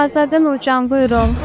Ağazadə Nurcan, buyurun.